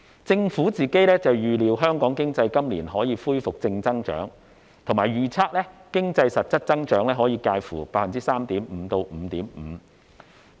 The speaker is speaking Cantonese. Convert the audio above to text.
政府預料香港經濟今年可以恢復正增長，並預測經濟實質增長可以介乎 3.5% 至 5.5%。